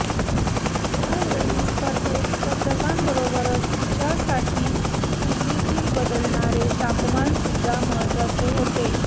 यावेळी स्पर्धेत स्पर्धकांबरोबरच तिच्यासाठी दिल्लीतील बदलणारे तापमान सुद्धा महत्वाचे होते